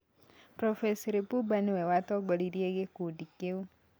Prof. Lipumba nĩwe watongoririe gĩkundi kĩu.